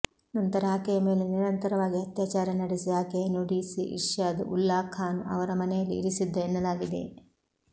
ನಂತರ ಆಕೆಯ ಮೇಲೆ ನಿರಂತರವಾಗಿ ಅತ್ಯಾಚಾರ ನಡೆಸಿ ಆಕೆಯನ್ನು ಡಿಸಿ ಇರ್ಷಾದ್ ಉಲ್ಲಾ ಖಾನ್ ಅವರ ಮನೆಯಲ್ಲಿ ಇರಿಸಿದ್ದ ಎನ್ನಲಾಗಿದೆ